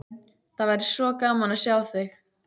Það væri svo gaman að sjá þig.